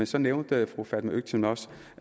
så nævnte fru fatma øktem også